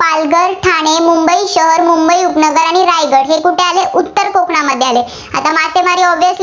पालघर, ठाणे, मुंबई शहर, मुंबई उपनगर, आणि रायगड हे कुठे आले उत्तर कोकणामध्ये. आता मासेमारी